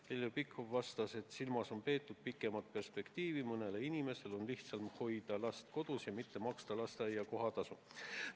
Heljo Pikhof vastas, et silmas on peetud pikemat perspektiivi, et mõnel inimesel on soodsam hoida last kodus ja mitte maksta lasteaia kohatasu.